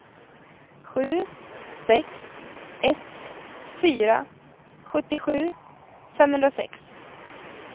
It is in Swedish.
sju sex ett fyra sjuttiosju femhundrasex